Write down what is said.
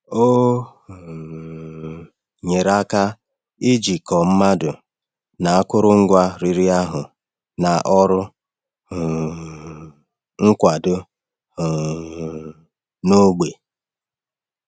Ọ um nyere aka jikọọ mmadụ na akụrụngwa riri ahụ na ọrụ um nkwado um n’ógbè.